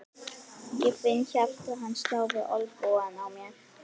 Ég finn hjarta hans slá við olnbogann á mér.